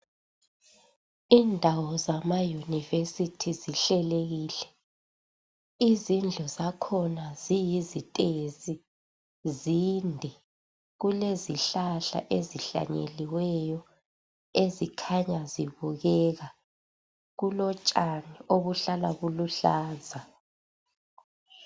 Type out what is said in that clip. Indawo zamayunivesithi zihlelekile, izindlu zakhona ziyizitezi, zinde. Kulezihlahla ezihlanyeliweyo ezikhanya zibukeka. Kulotshani obuhlala buluhlaza.